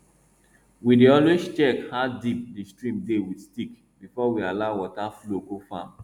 we dey always check how deep di stream dey with stick before we allow water flow go farm